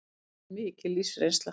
Verður mikil lífsreynsla